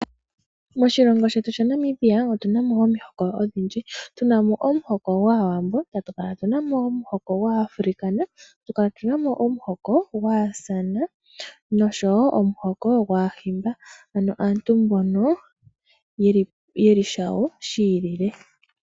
Moshilongo shetu sha Namibia otuna mo omihoko odhindji, tunamo omuhoko gwAawambo tatu kala tunamo omuhoko gwAafrikaner, atu kala tunamo omuhoko gwAasan, noshowo omuhoko gwAahimba ano aantu mbono yeli shawo shi ilile.